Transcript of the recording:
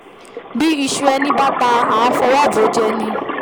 bí iṣu ẹni bá ta àá fọwọ́ bòójẹ ni